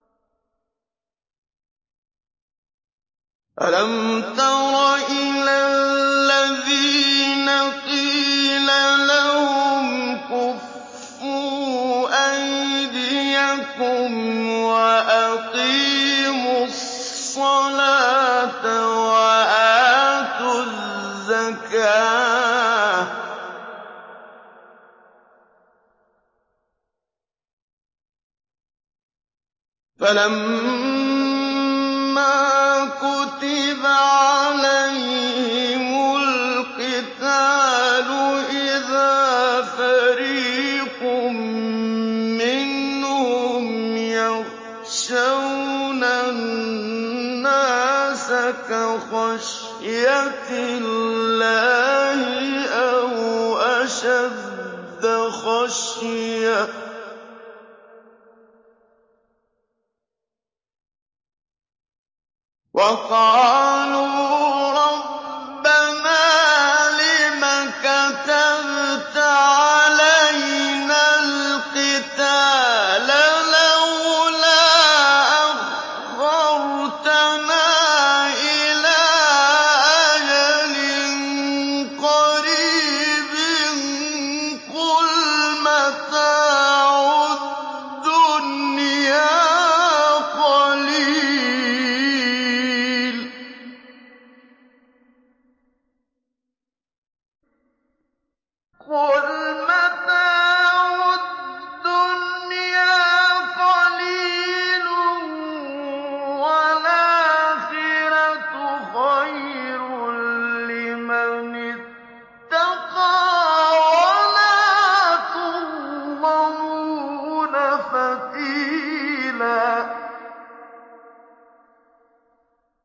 أَلَمْ تَرَ إِلَى الَّذِينَ قِيلَ لَهُمْ كُفُّوا أَيْدِيَكُمْ وَأَقِيمُوا الصَّلَاةَ وَآتُوا الزَّكَاةَ فَلَمَّا كُتِبَ عَلَيْهِمُ الْقِتَالُ إِذَا فَرِيقٌ مِّنْهُمْ يَخْشَوْنَ النَّاسَ كَخَشْيَةِ اللَّهِ أَوْ أَشَدَّ خَشْيَةً ۚ وَقَالُوا رَبَّنَا لِمَ كَتَبْتَ عَلَيْنَا الْقِتَالَ لَوْلَا أَخَّرْتَنَا إِلَىٰ أَجَلٍ قَرِيبٍ ۗ قُلْ مَتَاعُ الدُّنْيَا قَلِيلٌ وَالْآخِرَةُ خَيْرٌ لِّمَنِ اتَّقَىٰ وَلَا تُظْلَمُونَ فَتِيلًا